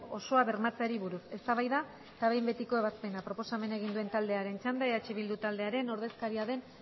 osoa bermatzeari buruz eztabaida eta behin betiko ebazpena proposamena egin duen taldearen txanda eh bildu taldearen ordezkaria den